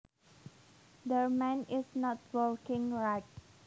Their mind is not working right